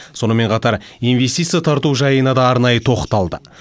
сонымен қатар инвестиция тарту жайына да арнайы тоқталды